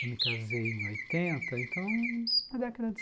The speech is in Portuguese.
Eu me casei em oitenta, então, na década de